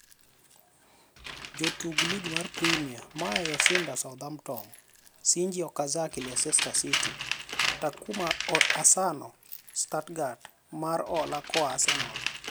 Jotuk Lig mar Premia: Maya Yoshida (Southampton), Shinji Okazaki (Leicester City), Takuma Asano (Stuttgart, mar hola koa Arsenal).